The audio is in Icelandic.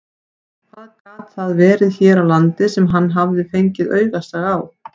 Hvað gat það verið hér á landi sem hann hafði fengið augastað á?